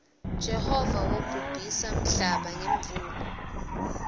jehova wobhubhisa nmhlaba ngemuula